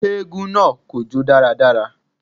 Eégún náà kò jó dáradára